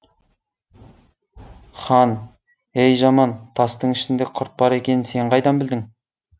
хан ей жаман тастың ішінде құрт бар екенін сен қайдан білдің